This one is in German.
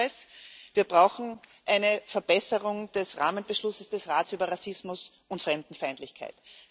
Und noch etwas Wir brauchen eine Verbesserung des Rahmenbeschlusses des Rates über Rassismus und Fremdenfeindlichkeit.